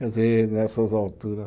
Quer dizer, nessas alturas...